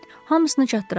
Hamısını çatdıraram.